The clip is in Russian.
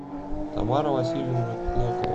тамара васильевна клокова